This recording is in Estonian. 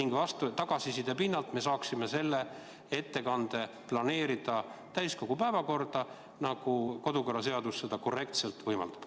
Pärast tagasiside saamist me saaksime selle ettekande korrektselt planeerida täiskogu päevakorda, nii nagu kodukorraseadus seda võimaldab.